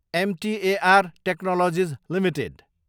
MTAR technologies Ltd